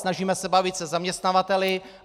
Snažíme se bavit se zaměstnavateli.